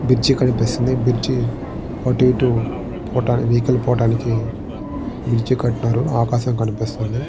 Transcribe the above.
Bridge కన్పిస్తుంది bridge అటు ఇటు పోటా వెహికల్ పోవడానికి బ్రిడ్జి కట్టినాడు. ఆకాశం కనిపిస్తుంది.